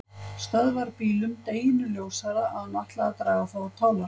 Stöðvarbílum, deginum ljósara að hún ætlaði að draga þá á tálar.